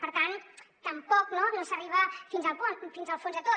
per tant tampoc no no s’arriba fins al fons de tot